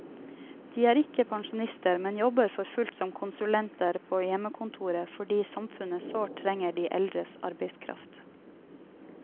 De er ikke pensjonister, men jobber for fullt som konsulenter på hjemmekontoret fordi samfunnet sårt trenger de eldres arbeidskraft.